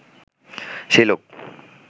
সেই লোক